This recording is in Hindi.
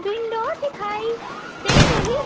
विंडो दिखाई दे रही--